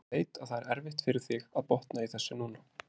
Ég veit að það er erfitt fyrir þig að botna í þessu núna.